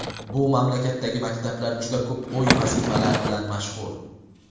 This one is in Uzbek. Bu mamlakatdagi maktablar juda ko‘p uy vazifalari bilan mashhur.